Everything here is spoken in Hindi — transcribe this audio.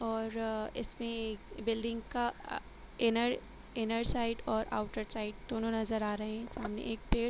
और इसमें बिल्डिंग का अ इनर इनर साइड और आउटर साइड दोनों नजर आ रहे है। सामने एक पेड़ --